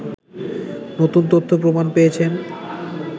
নতুন তথ্য প্রমাণ পেয়েছেন